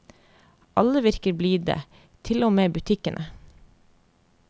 Alle virker blide, til og med i butikkene.